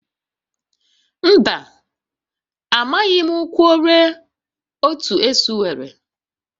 Mba, amaghị m ụkwụ ole otu esu nwere